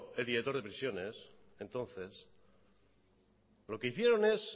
el director de prisiones entonces lo que hicieron es